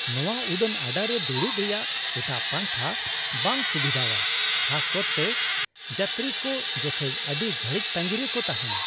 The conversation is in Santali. ᱱᱚᱶᱟ ᱩᱰᱟᱹᱱ ᱟᱰᱟ ᱨᱮ ᱫᱩᱲᱩᱵ ᱨᱮᱭᱟᱜ ᱮᱴᱟᱜ ᱯᱟᱱᱛᱷᱟ ᱵᱟᱝ ᱥᱩᱵᱤᱫᱷᱟᱣᱟ, ᱠᱷᱟᱥ ᱠᱟᱨᱛᱮ ᱡᱟᱛᱛᱨᱤ ᱠᱚ ᱡᱚᱠᱷᱮᱡ ᱟᱹᱰᱤ ᱜᱷᱟᱹᱲᱤᱡ ᱛᱟᱸᱜᱤ ᱨᱮ ᱠᱚ ᱛᱟᱦᱮᱱᱟ ᱾